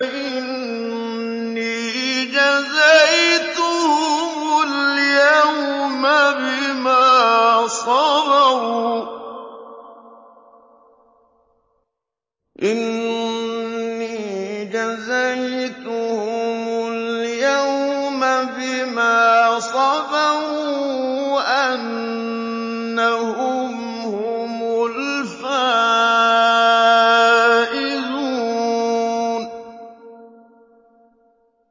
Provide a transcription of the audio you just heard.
إِنِّي جَزَيْتُهُمُ الْيَوْمَ بِمَا صَبَرُوا أَنَّهُمْ هُمُ الْفَائِزُونَ